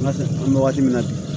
an bɛ wagati min na bi